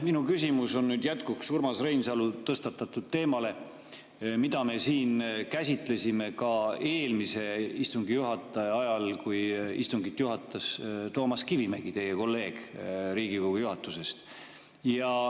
Minu küsimus on jätkuks Urmas Reinsalu tõstatatud teemale, mida me siin käsitlesime ka eelmise istungi juhataja ajal, kui istungit juhatas Toomas Kivimägi, teie kolleeg Riigikogu juhatuses.